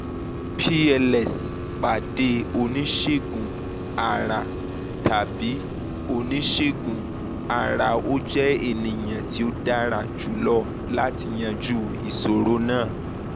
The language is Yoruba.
pls pade onisegun-ara tabi onisegun-ara o jẹ eniyan ti o dara julọ lati yanju iṣoro naa